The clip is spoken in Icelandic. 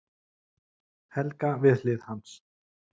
Helga við hlið hans.